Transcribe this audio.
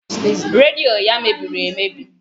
Redio ya mebiri emebi